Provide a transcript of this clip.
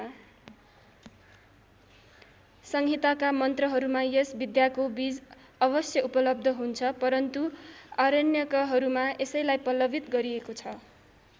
संहिताका मन्त्रहरूमा यस विद्याको बीज अवश्य उपलब्ध हुन्छ परन्तु आरण्यकहरूमा यसैलाई पल्लवित गरिएको छ।